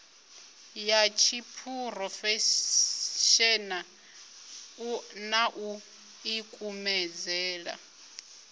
ya tshiphurofeshenaḽa na u ḓikumedzela